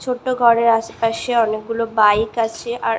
ছোট্ট ঘরের আশেপাশে অনেকগুলো বাইক আছে আর--